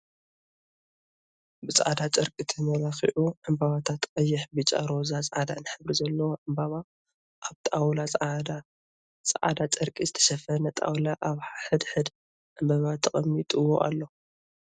ብፃዕዳ ጨርቂ ተመላኪዑ ዕምበባታት ቀይሕ፣ ቢጫ፣ ሮዛ፣ ፃዕዳን ሕብሪ ዘለዎ ዕምበባ ኣብ ጣውላ ፃዕዳ ፃዕዳ ጨርቂ ዝተሸፈነ ጣውላ ኣብ ሕድ ሕዱ ዕምበባ ተቀሚጥዎ ኣሎ።